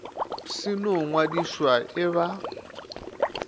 se no ngwadišwa e ba